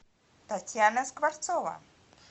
татьяна скворцова